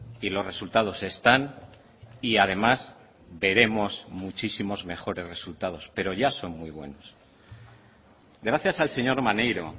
y los resultados están y además veremos muchísimos mejores resultados pero ya son muy buenos gracias al señor maneiro